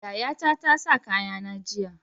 Yayata tasa kaya na jiya